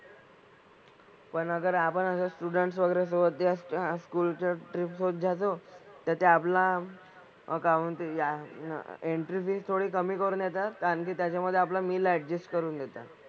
पण अगर आपण असं students वगैरे सोबत school च्या trip सोबत जातो तर ते आपला account ते या entry fees थोडी कमी करून देतात. कारण की त्याच्यामधे आपलं meal adjust करून येतं.